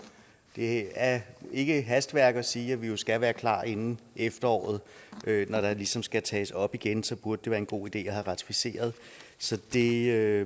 det er ikke hastværk at sige at vi jo skal være klar inden efteråret når det ligesom skal tages op igen så det burde være en god idé at have ratificeret så det er